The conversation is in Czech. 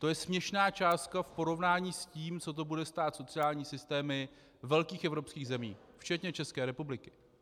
To je směšná částka v porovnání s tím, co to bude stát sociální systémy velkých evropských zemí včetně České republiky.